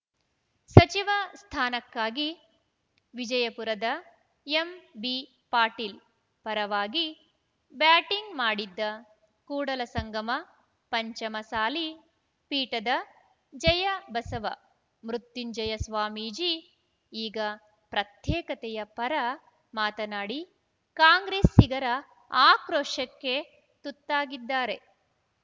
ಸಚಿವ ಸ್ಥಾನಕ್ಕಾಗಿ ವಿಜಯಪುರದ ಎಂಬಿಪಾಟೀಲ್‌ ಪರವಾಗಿ ಬ್ಯಾಟಿಂಗ್‌ ಮಾಡಿದ್ದ ಕೂಡಲ ಸಂಗಮ ಪಂಚಮಸಾಲಿ ಪೀಠದ ಜಯಬಸವ ಮೃತ್ಯುಂಜಯ ಸ್ವಾಮೀಜಿ ಈಗ ಪ್ರತ್ಯೇಕತೆಯ ಪರ ಮಾತನಾಡಿ ಕಾಂಗ್ರೆಸ್ಸಿಗರ ಆಕ್ರೋಶಕ್ಕೆ ತುತ್ತಾಗಿದ್ದಾರೆ